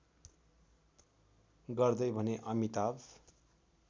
गर्दै भने अमिताभ